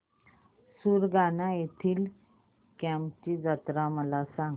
सुरगाणा येथील केम्ब ची यात्रा मला सांग